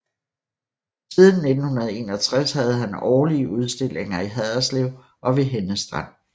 Siden 1961 havde han årlige udstillinger i Haderslev og ved Henne Strand